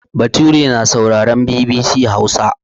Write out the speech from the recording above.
Bature na sauraren BBC Hausa.